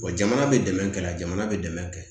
Wa jamana bɛ dɛmɛ kɛ jamana bɛ dɛmɛ kɛ